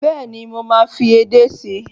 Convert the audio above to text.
Bẹ́ẹ̀ni, mo máa fi edé sí.